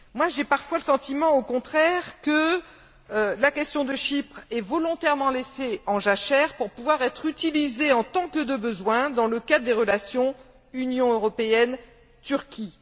J'ai parfois le sentiment, au contraire, que la question de Chypre est volontairement laissée en jachère pour pouvoir être utilisée en tant que de besoin dans le cadre des relations Union européenne Turquie.